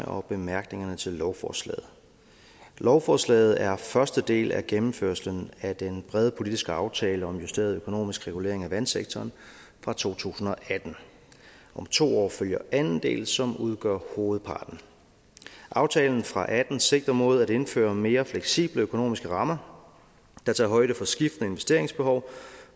og bemærkningerne til lovforslaget lovforslaget er første del af gennemførelsen af den brede politiske aftale om en justeret økonomisk regulering af vandsektoren fra to tusind og atten om to år følger anden del som udgør hovedparten aftalen fra og atten sigter mod at indføre mere fleksible økonomiske rammer der tager højde for skiftende investeringsbehov